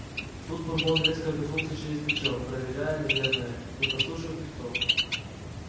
тут бурбон резко обернулся через плечо проверяя наверное не подслушивает ли кто